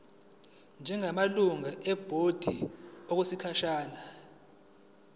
njengamalungu ebhodi okwesikhashana